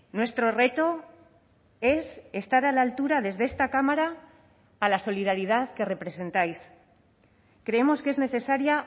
nuestro reto es estar a la altura desde esta cámara a la solidaridad que representáis creemos que es necesaria